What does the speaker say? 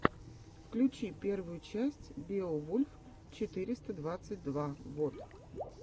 включи первую часть беовульф четыреста двадцать два вот